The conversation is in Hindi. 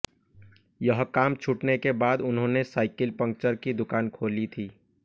यह काम छूटने के बाद उन्होंने साइिकल पंचर की दुकान खोली थी